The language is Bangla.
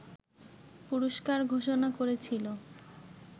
পুরস্কার ঘোষণা করেছিল